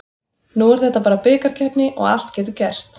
Nú er þetta bara bikarkeppni og allt getur gerst.